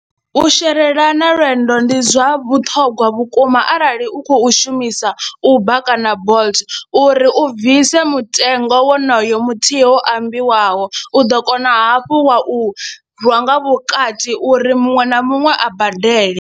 U sherelana lwendo ndi zwa vhuṱhongwa vhukuma arali u khou shumisa Uber kana Bolt uri u bvise mutengo wonoyo muthihi wo ambiwaho u ḓo kona hafhu wa u rwa nga vhukati uri muṅwe na muṅwe a badele.